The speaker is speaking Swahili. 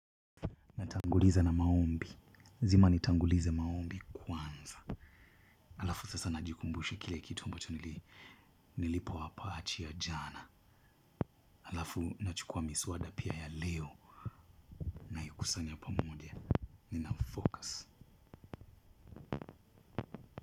Natanguliza na maombi. Zima nitanguliza maombi kwanza. Alafu sasa najikumbushe kile kitu ambacho nilipo wapachi ya jana. Alafu nachukua miswada pia ya leo. Kusanya pamoja. Ninafocus.